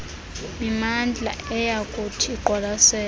mimandla eyakuthi iqwalaselwe